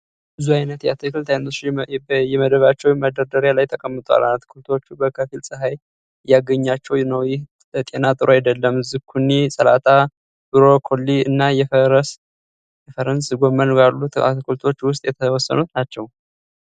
ብዙ አይነት የአትክልት አይነቶች በየመደባቸው በማዳበሪያ ላይ ተቀምጧል። አትክልቶቹ በከፊል ጸሃይ እያገኛቸው ነው ይህ ለጤና ጥሩ አይደለም። ዝኩኒ፣ ሰላጣ፣ ብሮኮሊ እና የፈረንዝ ጎመን ካሉት አትክልቶች ዉስጥ የተወሰኑት ናቸው።